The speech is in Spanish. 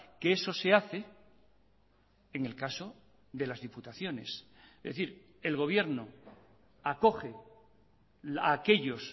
que eso se hace en el caso de las diputaciones es decir el gobierno acoge a aquellos